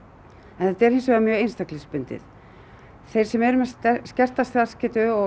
en þetta er hins vegar mjög einstaklingsbundið þeir sem eru með skerta starfsgetu og